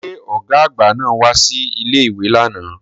Ṣé ọ̀gá àgbà náà wá sí ilé-ìwé lánàá